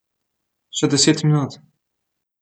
Še deset minut.